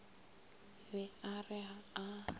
be a re haa a